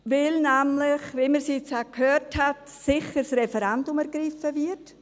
Dies, weil – wie wir es jetzt auch gehört haben – sicher das Referendum ergriffen wird.